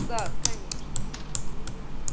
да конечно